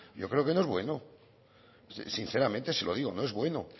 yo creo que no es bueno sinceramente se lo digo no es bueno